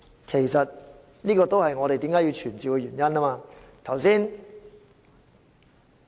其實，這也是我們為何要傳召官員的原因。